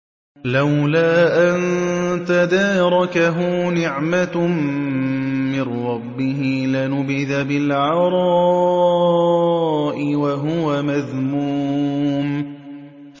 لَّوْلَا أَن تَدَارَكَهُ نِعْمَةٌ مِّن رَّبِّهِ لَنُبِذَ بِالْعَرَاءِ وَهُوَ مَذْمُومٌ